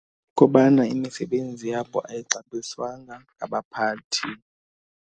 Kubana imisebenzi yabo ayixabiswanga ngabaphathi.